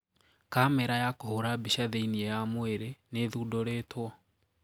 Kamera ya kũhũra mbica thiinie ya mwiri niithundũritwo.